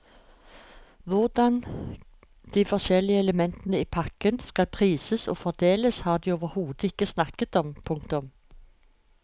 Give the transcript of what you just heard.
Hvordan de forskjellige elementene i pakken skal prises og fordeles har de overhodet ikke snakket om. punktum